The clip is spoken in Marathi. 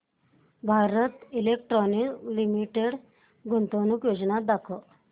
भारत इलेक्ट्रॉनिक्स लिमिटेड गुंतवणूक योजना दाखव